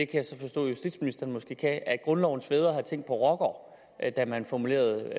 jeg så forstå at justitsministeren måske kan at grundlovens fædre har tænkt på rockere da da man formulerede